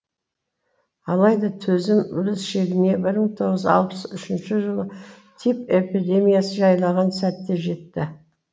алайда төзім өз шегіне бір мың тоғыз жүз алпыс үшінші жылы тиф эпидемиясы жайлаған сәтте жетті